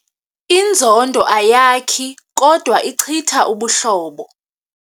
Inzondo ayakhi kodwa ichitha ubuhlobo.